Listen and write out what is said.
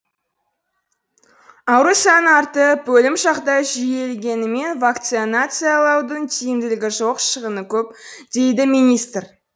ауру саны артып өлім жағдайы жиілегенімен вакцинациялаудың тиімділігі жоқ шығыны көп дейді министр